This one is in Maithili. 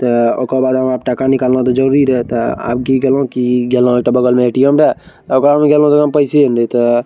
ते ओकर बाद हमरा टाँका निकलना तो ज़रूरी रहता अब की करलों की गहलों एक ठो बगल में ए.टी.एम. रह ओकरा में गहलों ओकरा में पैसो नहीं थे।